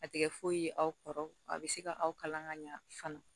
A tɛ kɛ foyi ye aw kɔrɔ a bɛ se ka aw kalan ka ɲa fana